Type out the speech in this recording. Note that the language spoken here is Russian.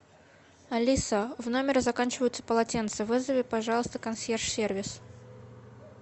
алиса в номере заканчиваются полотенца вызови пожалуйста консьерж сервис